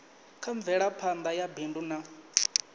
kha mvelaphana ya bindu na